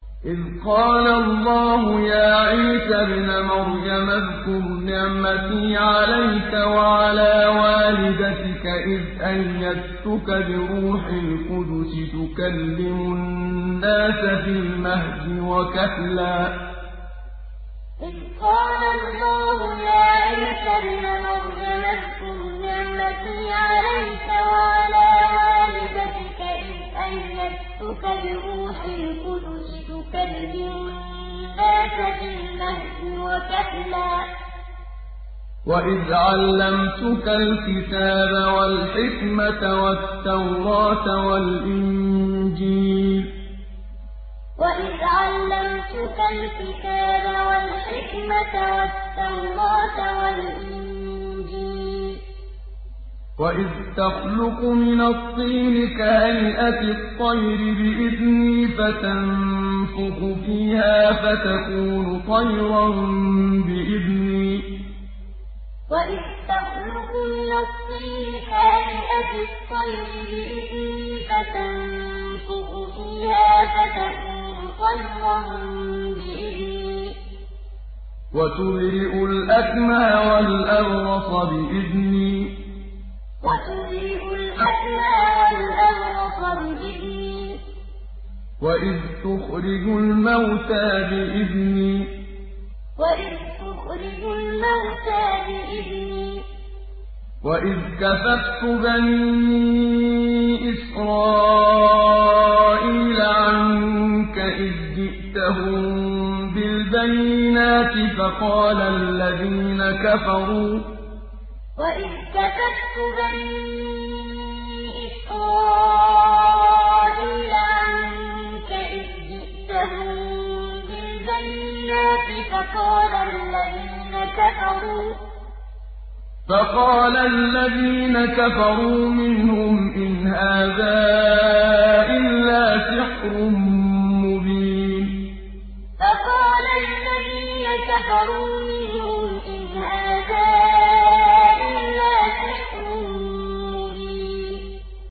إِذْ قَالَ اللَّهُ يَا عِيسَى ابْنَ مَرْيَمَ اذْكُرْ نِعْمَتِي عَلَيْكَ وَعَلَىٰ وَالِدَتِكَ إِذْ أَيَّدتُّكَ بِرُوحِ الْقُدُسِ تُكَلِّمُ النَّاسَ فِي الْمَهْدِ وَكَهْلًا ۖ وَإِذْ عَلَّمْتُكَ الْكِتَابَ وَالْحِكْمَةَ وَالتَّوْرَاةَ وَالْإِنجِيلَ ۖ وَإِذْ تَخْلُقُ مِنَ الطِّينِ كَهَيْئَةِ الطَّيْرِ بِإِذْنِي فَتَنفُخُ فِيهَا فَتَكُونُ طَيْرًا بِإِذْنِي ۖ وَتُبْرِئُ الْأَكْمَهَ وَالْأَبْرَصَ بِإِذْنِي ۖ وَإِذْ تُخْرِجُ الْمَوْتَىٰ بِإِذْنِي ۖ وَإِذْ كَفَفْتُ بَنِي إِسْرَائِيلَ عَنكَ إِذْ جِئْتَهُم بِالْبَيِّنَاتِ فَقَالَ الَّذِينَ كَفَرُوا مِنْهُمْ إِنْ هَٰذَا إِلَّا سِحْرٌ مُّبِينٌ إِذْ قَالَ اللَّهُ يَا عِيسَى ابْنَ مَرْيَمَ اذْكُرْ نِعْمَتِي عَلَيْكَ وَعَلَىٰ وَالِدَتِكَ إِذْ أَيَّدتُّكَ بِرُوحِ الْقُدُسِ تُكَلِّمُ النَّاسَ فِي الْمَهْدِ وَكَهْلًا ۖ وَإِذْ عَلَّمْتُكَ الْكِتَابَ وَالْحِكْمَةَ وَالتَّوْرَاةَ وَالْإِنجِيلَ ۖ وَإِذْ تَخْلُقُ مِنَ الطِّينِ كَهَيْئَةِ الطَّيْرِ بِإِذْنِي فَتَنفُخُ فِيهَا فَتَكُونُ طَيْرًا بِإِذْنِي ۖ وَتُبْرِئُ الْأَكْمَهَ وَالْأَبْرَصَ بِإِذْنِي ۖ وَإِذْ تُخْرِجُ الْمَوْتَىٰ بِإِذْنِي ۖ وَإِذْ كَفَفْتُ بَنِي إِسْرَائِيلَ عَنكَ إِذْ جِئْتَهُم بِالْبَيِّنَاتِ فَقَالَ الَّذِينَ كَفَرُوا مِنْهُمْ إِنْ هَٰذَا إِلَّا سِحْرٌ مُّبِينٌ